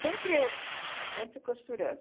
Sempre sempre costurando.